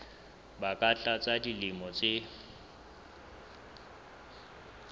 ba ka tlasa dilemo tse